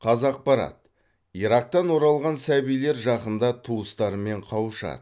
қазақпарат ирактан оралған сәбилер жақында туыстарымен қауышады